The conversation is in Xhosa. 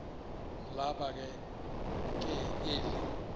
laba ke eli